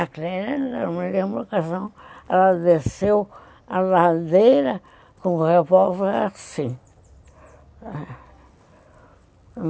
Aquela, não me lembro a ocasião, ela desceu a ladeira com o revólver assim.